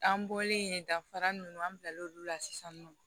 An bɔlen yen danfara minnu an bilal'olu la sisan nɔ